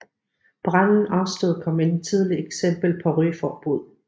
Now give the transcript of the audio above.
Branden afstedkom et tidligt eksempel på rygeforbud